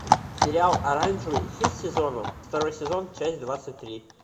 сериал оранжевый хит сезона второй сезон часть двадцать три